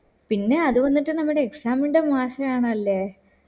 പിന്നെ അത് വന്നിട്ട് നമ്മ്ടെ exam NTE മാസേ ആണല്ലേ